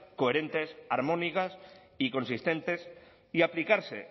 coherentes armónicas y consistentes y aplicarse